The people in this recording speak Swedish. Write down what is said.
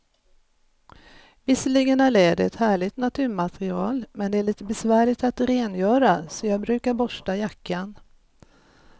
Visserligen är läder ett härligt naturmaterial, men det är lite besvärligt att rengöra, så jag brukar borsta jackan.